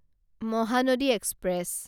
Mahanadi express